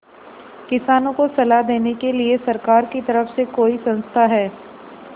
किसानों को सलाह देने के लिए सरकार की तरफ से कोई संस्था है